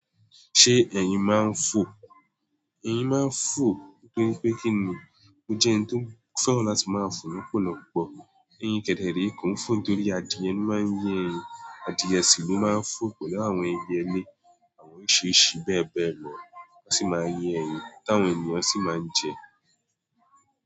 Ṣé ẹyin máa ń fò? Eyin máa ń fò torí pé kí nì, ó jẹ́ ẹni tó fẹ́ran láti máa fò lọ́pọ̀lọpọ̀. Eyin kẹdẹ rẹ̀ kò ń fò torí adìẹ ló máa ń yín ẹyin, adìẹ sì ló máa ń fò pẹ̀lú àwọn ẹyẹ́ ilé, àwọn oríṣiríṣi bẹ́ẹ̀ bẹ́ẹ̀ lọ wọ́n sì máa ye ẹyin tàwọn ènìyàn sì máa ń jẹ.